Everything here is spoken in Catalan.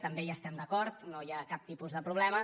també hi estem d’acord no hi ha cap tipus de problema